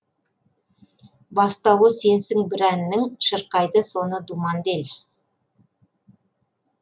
бастауы сенсің бір әннің шырқайды соны думанды ел